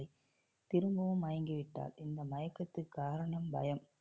திரும்பவும் மயங்கிவிட்டாள் இந்த மயக்கத்திற்கு காரணம் பயம்